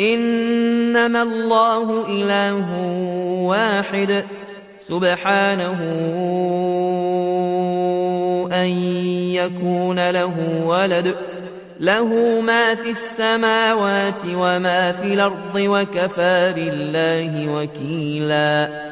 إِنَّمَا اللَّهُ إِلَٰهٌ وَاحِدٌ ۖ سُبْحَانَهُ أَن يَكُونَ لَهُ وَلَدٌ ۘ لَّهُ مَا فِي السَّمَاوَاتِ وَمَا فِي الْأَرْضِ ۗ وَكَفَىٰ بِاللَّهِ وَكِيلًا